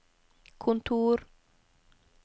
kontor